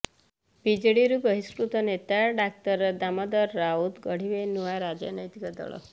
ବିଜେଡିରୁ ବହିଷ୍କୃତ ନେତା ଡାକ୍ତର ଦାମୋଦର ରାଉତ ଗଢ଼ିବେ ନୂଆ ରାଜନୈତିକ ଦଳ